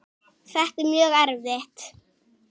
Þetta er mjög erfitt.